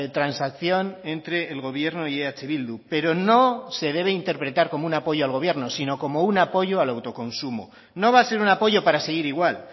transacción entre el gobierno y eh bildu pero no se debe interpretar como un apoyo al gobierno sino como un apoyo al autoconsumo no va a ser un apoyo para seguir igual